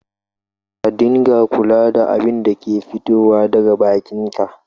Ka dunga kula da abinda ke fitowa daga bakin ka